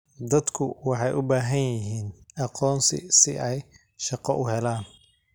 Dadku waxay u baahan yihiin aqoonsi si ay shaqo u helaan.